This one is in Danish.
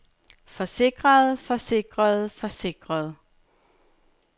forsikrede forsikrede forsikrede